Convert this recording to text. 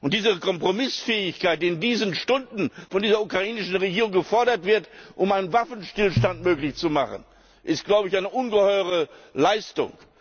Die Kompromissfähigkeit, die in diesen Stunden von der ukrainischen Regierung gefordert wird, um einen Waffenstillstand möglich zu machen, ist eine ungeheure Leistung.